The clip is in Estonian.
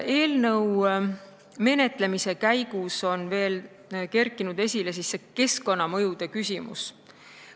Eelnõu menetlemise käigus on kerkinud esile keskkonnamõjude küsimus.